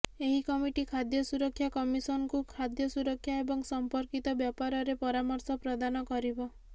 ଏହି କମିଟି ଖାଦ୍ୟ ସୁରକ୍ଷା କମିଶନଙ୍କୁ ଖାଦ୍ୟ ସୁରକ୍ଷା ଏବଂ ସମ୍ପର୍କିତ ବ୍ୟାପାରରେ ପରାମର୍ଶ ପ୍ରଦାନ କରିବ